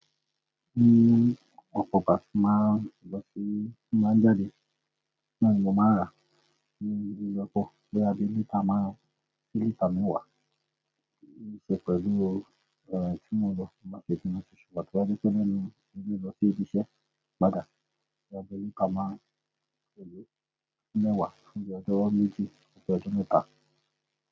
Ní òpópá má lọ sí, tí má jáde, náà ni mo má rà, ní ibi ìjọkòó bí a bá dé lítà márùn-ún, lítà mẹ́wàá, ní ìṣe pẹ̀lú ooru, tí mo lọ má sì fi ọ̀ṣọ̀ bàtá bí i ṣe lẹ́nu, mo máa ń rí lọ sí ibi iṣẹ́ báàgì, bí a bá dé lítà márùn-ún, èyí mẹ́wàá, ó jẹ́ ọjọ́ méjì sí ọjọ́ mẹ́ta.